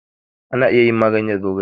Ana iya yin magani da zogale